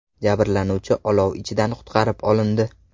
Jabrlanuvchi olov ichidan qutqarib olindi.